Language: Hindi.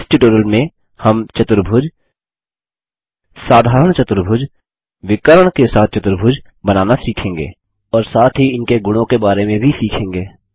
इस ट्यूटोरियल में हम चतुर्भुज साधारण चतुर्भुज विकर्ण के साथ चतुर्भुज बनाना सीखेंगे और साथ ही इनके गुणों के बारे में भी सीखेंगे